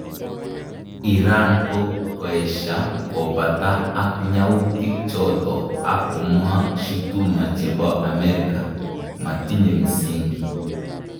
iran ko koesha kopata ak nyautik chato ak komwa shutuma chepo amerika ,"matinye msingi."